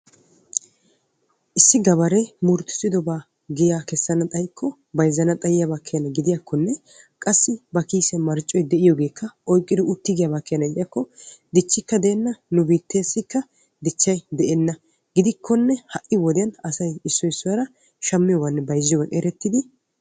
issi gabaree muruttisidobaa giyaa kessana xayikko bayzzana xayiyaaba keenna gidiyaakkonne qassi ba kiissiyan marccoy de'iyoogeekka oyqqidi uttiigiyaaba keena gidikko diccikka deenna nu biitteessikka dichchay de'enna. gidikkonne ha'i wodiyan asay issoy issuwara shammiyooganninne bayzziyoogan erettidi